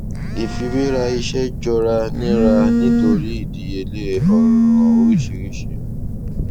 ifiwera iṣẹ jọra nira nitori idiyele ọràn oriṣiriṣi